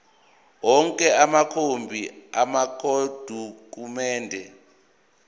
onke amakhophi amadokhumende